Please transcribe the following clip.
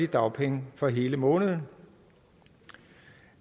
dagpenge for hele måneden